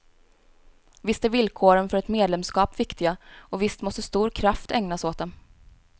Visst är villkoren för ett medlemskap viktiga och visst måste stor kraft ägnas åt dem.